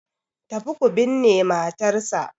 Tafi ku binne matarsa